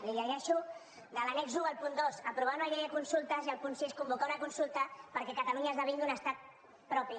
li llegeixo de l’annex un el punt dos aprovar una llei de consultes i el punt sis convocar una consulta perquè catalunya esdevingui un estat propi